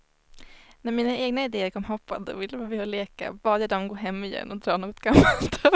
När mina egna idéer kom hoppande och ville vara med och leka bad jag dem gå hem igen och dra något gammalt över sig.